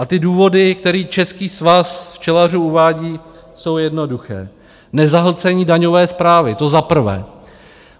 A ty důvody, které Český svaz včelařů uvádí, jsou jednoduché: Nezahlcení daňové správy, to za prvé.